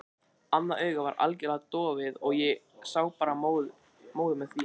Annað augað var algjörlega dofið og ég sá bara móðu með því.